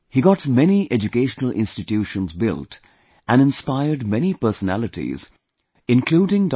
He got many educational institutions built and inspired many personalities including Dr